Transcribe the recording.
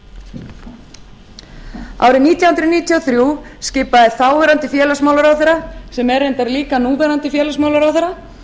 árið nítján hundruð níutíu og þrjú skipaði þáverandi félagsmálaráðherra sem er reyndar líka núverandi félagsmálaráðherra